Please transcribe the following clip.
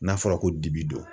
N'a fɔra ko dibi don